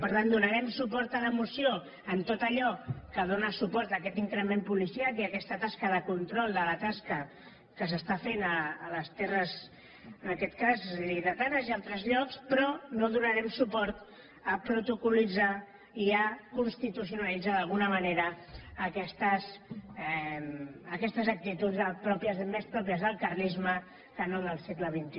per tant donarem suport a la moció en tot allò que dóna suport a aquest increment policial i a aquesta tasca de control de la tasca que s’està fent a les terres en aquest cas lleidatanes i a altres llocs però no donarem suport a protocol·litzar i a constitucionalitzar d’alguna manera aquestes actituds més pròpies del carlisme que no del segle xxi